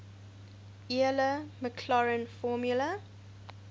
euler maclaurin formula